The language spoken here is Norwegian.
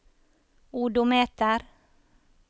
odometer